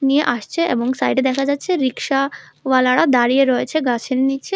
নিয়ে আসছে এবং সাইডে দেখা যাচ্ছে রিক্সা ওয়ালারা দাঁড়িয়ে রয়েছে গাছের নীচে।